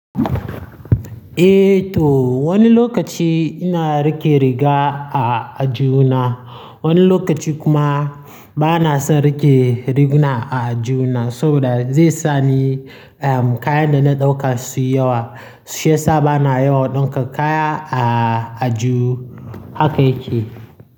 Eh to wani lokaci ina rike riga a ajihu na, wani lokaci kuma bana son rike rigina a ajihu na saboda zai sa ni kayan da na ɗauka su yi yawa, shi yasa bana yawan ɗinka kaya a ajihu haka yake.